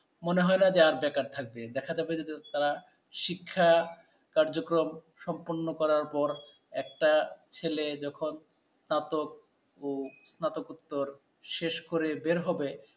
মনে হয় না যে আর বেকার থাকবে, দেখা যাবে যে তারা শিক্ষা কার্যক্রম সম্পন্ন করার পর একটা ছেলে যখন তার তো ও স্নাতকোত্তর শেষ করে বের হবে